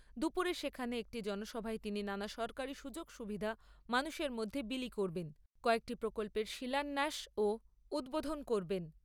দুপুরে সেখানে একটি জনসভায় তিনি নানা সরকারি সুযোগ সুবিধা মানুষের মধ্যে বিলি করবেন, কয়েকটি প্রকল্পের শিলান্যাস ও উদ্বোধন করবেন।